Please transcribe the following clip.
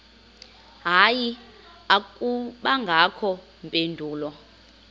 hayi akubangakho mpendulo